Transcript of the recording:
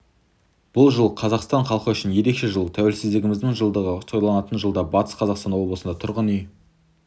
бұл жыл қазақстан халқы үшін ерекше жыл тәуелсіздігіміздің жылдығы тойланатын жылда батыс қазақстан облысында тұрғын үй